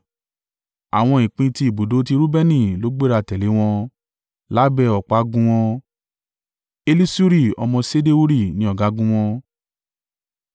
Àwọn ìpín ti ibùdó ti Reubeni ló gbéra tẹ̀lé wọn, lábẹ́ ọ̀págun wọn. Elisuri ọmọ Ṣedeuri ni ọ̀gágun wọn.